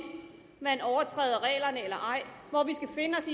man overtræder reglerne eller ej hvor vi skal finde os